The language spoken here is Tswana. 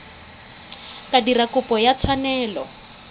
ka dira kopo ya tshwanelo